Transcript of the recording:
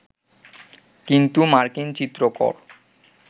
কিন্তু মার্কিন চিত্রকর